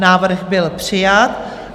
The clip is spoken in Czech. Návrh byl přijat.